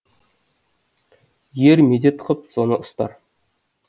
ер медет қып соны ұстар